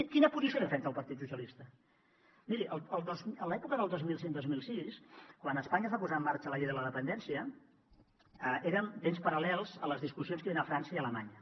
quina posició defensa el partit socialistes miri l’època del dos mil cinc dos mil sis quan a espanya es va posar en marxa la llei de la dependència eren temps paral·lels a les discussions que hi havien a frança i a alemanya